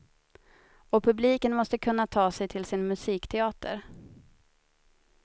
Och publiken måste kunna ta sig till sin musikteater.